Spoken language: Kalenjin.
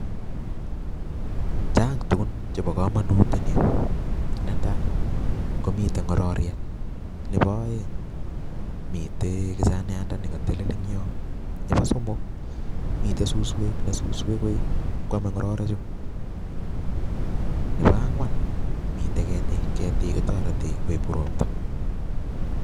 Chang tugun chebo komonutiet en yu netai komiten ngororyet, Nebo oeng komiten ngechiriet, Nebo somok komiten suswek cheome ngororichu, Nebo angwan komiten ketik, ketik kotoretii koib robta